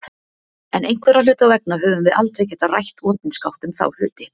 En einhverra hluta vegna höfum við aldrei getað rætt opinskátt um þá hluti.